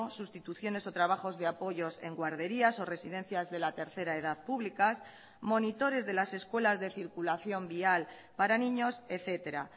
sustituciones o trabajos de apoyos en guarderías o residencias de la tercera edad públicas monitores de las escuelas de circulación vial para niños etcétera